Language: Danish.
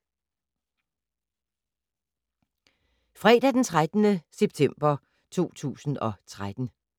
Fredag d. 13. september 2013